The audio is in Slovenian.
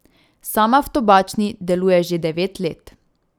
Sama v Tobačni deluje že devet let.